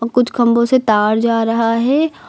कुछ खंभे से तार जा रहा है।